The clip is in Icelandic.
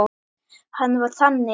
Hann var þannig.